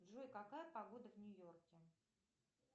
джой какая погода в нью йорке